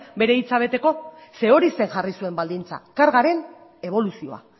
bere hitza beteko zeren eta hori zen jarri zuen baldintza kargaren eboluzioa